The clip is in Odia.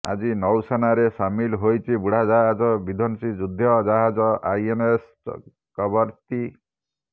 ଆଜି ନୌସେନାରେ ସାମିଲ ହୋଇଛି ବୁଡ଼ାଜାହାଜ ବିଧ୍ୱଂସୀ ଯୁଦ୍ଧ ଜାହାଜ ଆଇଏନ୍ଏସ୍ କବରତ୍ତି